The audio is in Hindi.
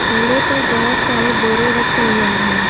थेले पर बहुत सारे बोड़े रखे गए हैं।